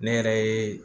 Ne yɛrɛ ye